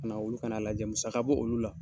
Kana olu fana lajɛ musaka b'olu la